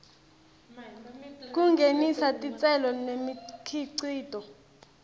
kungenisa titselo nemikhicito